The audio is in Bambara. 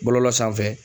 Bɔlɔlɔ sanfɛ